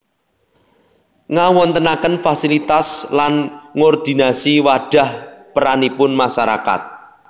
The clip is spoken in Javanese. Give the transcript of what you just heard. Ngawontenaken fasilitas lan nggordinasi wadhah peranipun masarakat